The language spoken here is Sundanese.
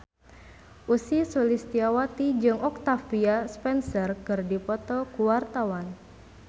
Ussy Sulistyawati jeung Octavia Spencer keur dipoto ku wartawan